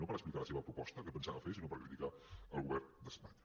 no per explicar la seva proposta què pensava fer sinó per criticar el govern d’espanya